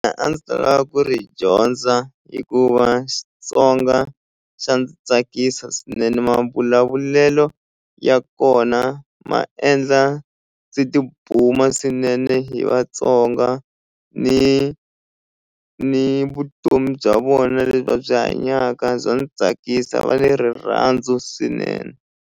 A ndzi ta lava ku ri dyondza hikuva Xitsonga xa ndzi tsakisa swinene mavulavulelo ya kona ma endla ndzi tibuma swinene hi Vatsonga ni ni vutomi bya vona lebyi va byi hanyaka bya ndzi tsakisa va ni rirhandzu swinene.